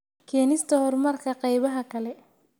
Keenista horumarka qaybaha kale.